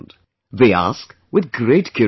They ask with great curiosity